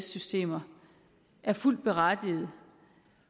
systemer er fuldt berettiget